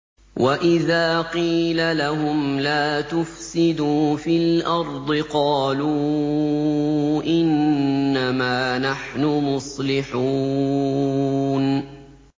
وَإِذَا قِيلَ لَهُمْ لَا تُفْسِدُوا فِي الْأَرْضِ قَالُوا إِنَّمَا نَحْنُ مُصْلِحُونَ